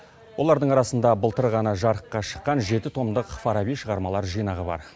олардың арасында былтыр ғана жарыққа шыққан жеті томдық фараби шығармалар жинағы бар